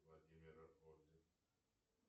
владимира орден